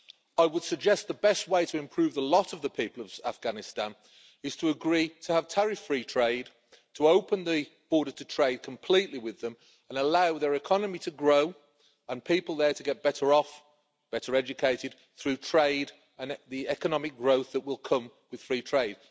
I would suggest the best way to improve the lot of the people of Afghanistan is to agree to have tariff free trade, to open the border to trade completely with them, and allow their economy to grow and people there to get better off and better educated through trade and the economic growth that will come with free trade.